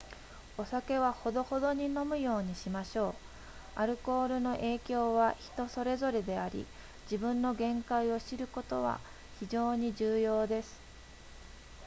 お酒はほどほどに飲むようにしましょうアルコールの影響は人それぞれであり自分の限界を知ることは非常に重要です